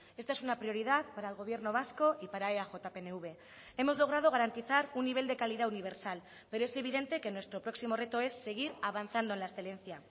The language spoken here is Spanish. esta es una prioridad para el gobierno vasco y para eaj pnv hemos logrado garantizar un nivel de calidad universal pero es evidente que nuestro próximo reto es seguir avanzando en la excelencia